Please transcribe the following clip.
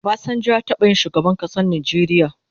Obasanjo ya taba yin shugaban kasan Nijeria